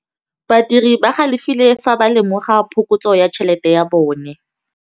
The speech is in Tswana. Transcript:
Badiri ba galefile fa ba lemoga phokotsô ya tšhelête ya bone.